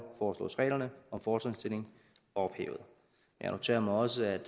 foreslås reglerne om fortrinsstilling ophævet jeg noterer mig også at